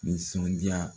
Nisɔndiya